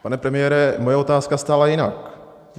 Pane premiére, moje otázka stála jinak.